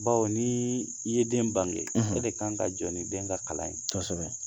Baw ni i ye den bange e de kan ka jɔ ni den ka kalan ye, kosɛbɛ